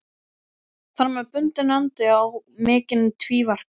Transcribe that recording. Þar með bundinn endi á mikinn tvíverknað.